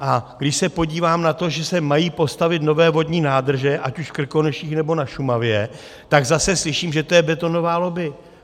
A když se podívám na to, že se mají postavit nové vodní nádrže, ať už v Krkonoších, nebo na Šumavě, tak zase slyším, že to je betonová lobby.